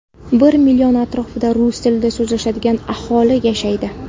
Bir million atrofida rus tilida so‘zlashadigan aholi yashaydi.